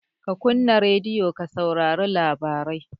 Ka kunna radiyo ka saurari labarai!